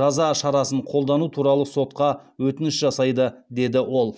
жаза шарасын қолдану туралы сотқа өтініш жасайды деді ол